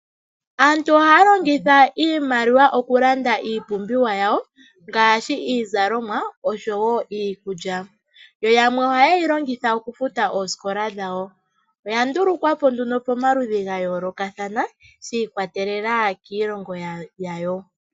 Aantu ohaya longitha iimaliwa okulanda iipumbiwa yawo, ngaashi iizalomwa osho wo iikudja, yo yamwe oha ye yi longitha oku futa oosikola dhawo. Oya ndulu kwapo nduno po maludhi ga yoolokathana, shi ikwatelela kiilonga yawo.